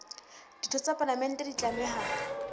ditho tsa palamente di tlameha